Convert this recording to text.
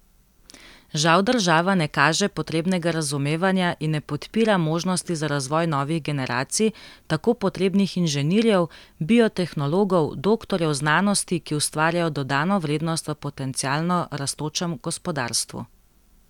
Žal država ne kaže potrebnega razumevanja in ne podpira možnosti za razvoj novih generacij tako potrebnih inženirjev, biotehnologov, doktorjev znanosti, ki ustvarjajo dodano vrednost v potencialno rastočem gospodarstvu.